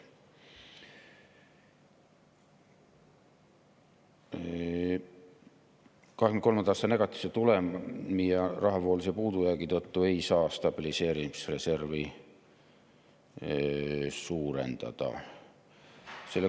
2023. aasta negatiivse tulemi ja rahavoolise puudujäägi tõttu ei saa stabiliseerimisreservi suurendada.